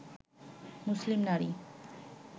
মুসলিম নারী